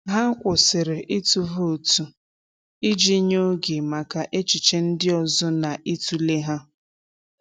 Ha kwụsịrị ịtụ vootu iji nye oge maka echiche ndị ọzọ na ịtụle ha.